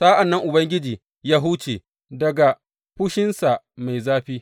Sa’an nan Ubangiji ya huce daga fushinsa mai zafi.